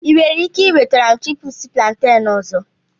Ị nwere ike nweta m chipúsí plantain ọzọ